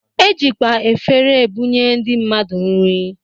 E jikwa efere ebunye ndị mmadụ nri